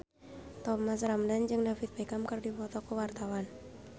Thomas Ramdhan jeung David Beckham keur dipoto ku wartawan